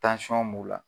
b'u la